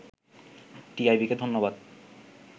“টিআইবিকে ধন্যবাদ